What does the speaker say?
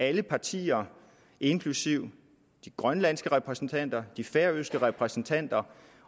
alle partier inklusive de grønlandske repræsentanter og de færøske repræsentanter